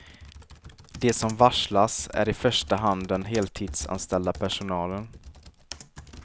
De som varslas är i första hand den heltidsanställda personalen.